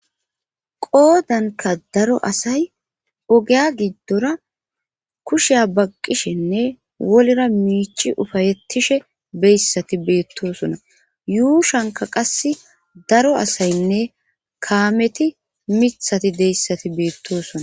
qoodanka daro asay ogeya giddora kusheya baqqishenne wolira miichi ufayettishe beyssati beettosona yuushanka qas daro asaynne kaameti mithati deyssati beettosona